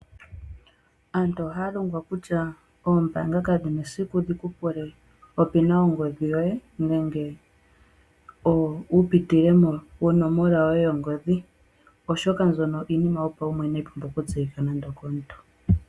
Aantu ohaya longwa kutya oombanga kadhina esiku dhikupule opina yongodhi yoye, nenge upitilemo nonomola yoye yongodhi. Oshoka ombyoka iinima yopaumwene inayi pumbwa okutseyika nando okomontu.